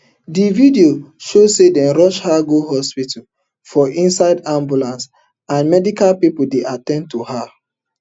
di video show say dem rush her go hospital for inside ambulance and medical pipo dey at ten d to her